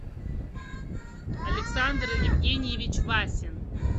александр евгеньевич васин